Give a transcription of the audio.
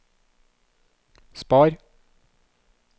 spar